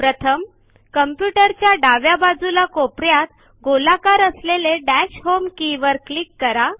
प्रथम कॉम्प्युटर च्या डाव्या बाजूला कोपऱ्यात गोलाकार असलेले दश होम के वर क्लीक करा